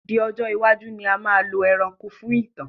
Di ọjọ́ iwájú ni a máa lọ ẹranko fún ìtàn